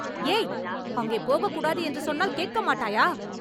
ஏய்.. அங்கே போகக்கூடாது என்று சொன்னால் கேட்கமாட்டாயா?